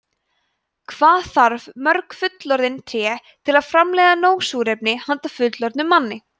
hvað þarf mörg fullorðin tré til að framleiða nóg súrefni handa fullorðnum manni